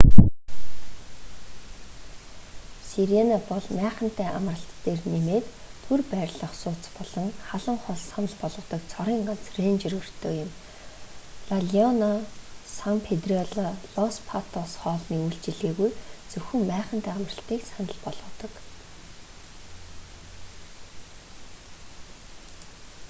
сирена бол майхантай амралт дээр нэмээд түр байрлах сууц болон халуун хоол санал болгодог цорын ганц рэнжер өртөө юм ла леона сан педрилло лос патос хоолны үйлчилгээгүй зөвхөн майхантай амралтыг санал болгодог